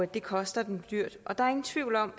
det koster dem dyrt der er ingen tvivl om